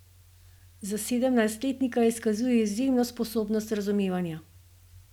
Za sedemnajstletnika izkazuje izjemno sposobnost razumevanja.